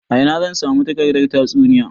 A ina zan samu takardar tatsuniya?